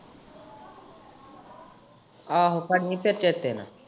ਆਹੋ ਕਾਰਲੀ ਫੇਰ ਚੇਤੇ ਨਾਲ।